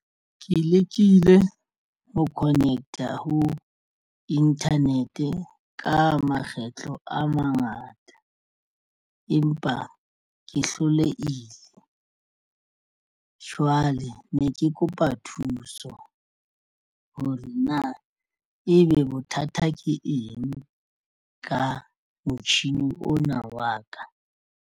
Ke lekile ho connect-a ho internet ka makgetlo a mangata empa ke hlolehile. Jwale ne ke kopa thuso hore na ebe bothata ke eng ka motjhini ona wa ka.